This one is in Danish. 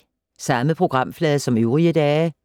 Samme programflade som øvrige dage